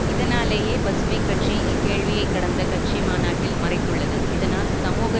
இதனாலேயே பசுமை கட்சி இக்கேள்வியை கடந்த கட்சி மாநாட்டில் மறைத்துள்ளது இதனால் சமூக